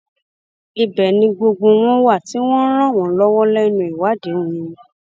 ibẹ ni gbogbo wọn wà tí wọn ń ràn wọn lọwọ lẹnu ìwádìí wọn